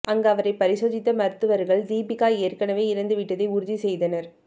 அங்கு அவரை பரிசோதித்த மருத்துவர்கள் தீபிகா ஏற்கனவே இறந்துவிட்டதை உறுதி செய்தனர்